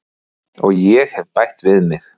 Og ég hef bætt við mig.